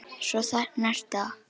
Svo þarna ertu þá!